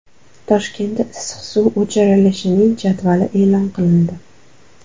Toshkentda issiq suv o‘chirilishining jadvali e’lon qilindi.